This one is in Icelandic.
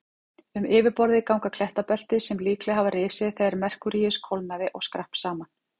Um yfirborðið ganga klettabelti sem líklega hafa risið þegar Merkúríus kólnaði og skrapp saman.